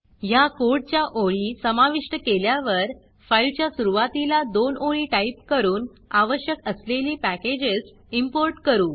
ह्या कोडच्या ओळी समाविष्ट केल्यावर फाईलच्या सुरूवातीला दोन ओळी टाईप करून आवश्यक असलेली पॅकेजेस इंपोर्ट करू